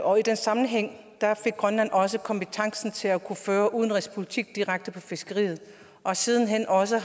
og i den sammenhæng fik grønland også kompetencen til at kunne føre udenrigspolitik direkte inden for fiskeriet og har sidenhen også